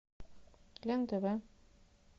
лен тв